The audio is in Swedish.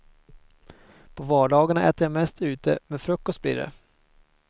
På vardagarna äter jag mest ute, men frukost blir det.